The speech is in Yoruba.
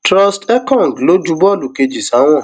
trust ekong ló ju bọọlù kejì sáwọn